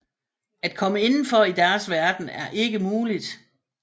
At komme indenfor i deres verden er ikke muligt